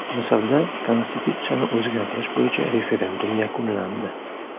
Misrda Konstitutsiyani o‘zgartirish bo‘yicha referendum yakunlandi.